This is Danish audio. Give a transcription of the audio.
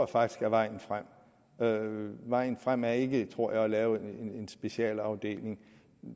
faktisk er vejen frem vejen frem er ikke tror jeg at lave en specialafdeling